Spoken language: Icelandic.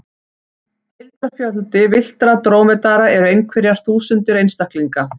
Heildarfjöldi villtra drómedara eru einhverjar þúsundir einstaklinga.